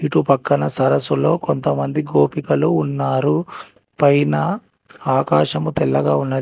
ఇటు పక్కన సరస్సులో కొంతమంది గోపికలు ఉన్నారు పైన ఆకాశము తెల్లగా ఉన్నది.